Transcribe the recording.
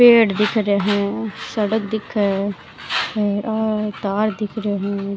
पेड़ दिख रहे है सड़क दिखे है हेर और तार दिख रिया है।